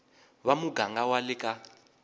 va muganga wa le ka